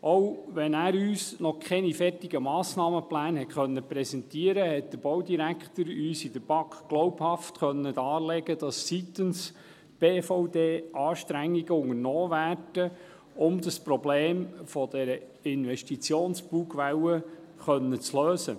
Auch wenn er uns noch keine fertigen Massnahmenpläne präsentieren konnte, konnte uns der Baudirektor in der BaK glaubhaft darlegen, dass seitens der BVD Anstrengungen unternommen werden, um das Problem der Investitionsbugwelle lösen zu können.